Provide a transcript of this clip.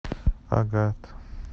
агат